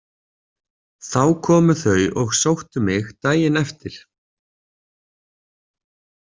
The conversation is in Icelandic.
Þá komu þau og sóttu mig daginn eftir.